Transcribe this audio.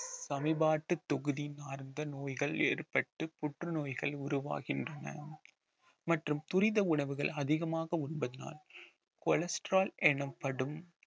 சமீப நோய்கள் ஏற்பட்டு புற்றுநோய்கள் உருவாகின்றன மற்றும் துரித உணவுகள் அதிகமாக உண்பதினால் cholesterol எனப்படும்